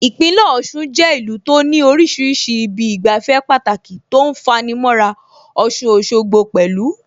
Ìpínlẹ̀ Ọ̀ṣun jẹ́ ìlú tó ní oríṣiríṣi ibi ìgbafẹ́ Pàtàki tó ń fani mọ́ra, Ọ̀ṣun Òṣogbo pẹ̀lú